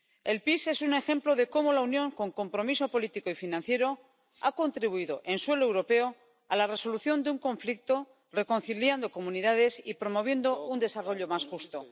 El PEACE es un ejemplo de cómo la Unión, con compromiso político y financiero, ha contribuido en suelo europeo a la resolución de un conflicto reconciliando comunidades y promoviendo un desarrollo más justo.